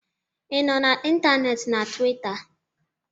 ị nọ na ntanetị na Tuweeta